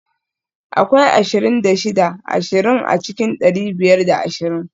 Akwai ashirin da shida ashirin a cikin dari biyar da ashirin